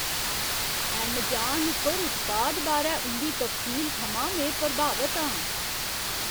Amazon उप्पर उत्पाद बारै उं'दी तफसील थमां में प्रभावत आं ।